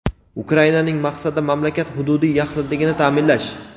Ukrainaning maqsadi mamlakat hududiy yaxlitligini ta’minlash.